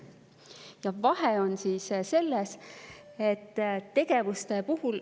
Ja vahe on selles, et tegevuste puhul …